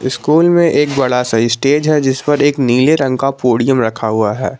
School में एक बड़ा सा स्टेज है जिस पर एक नीले रंग का पोडियम रखा हुआ है।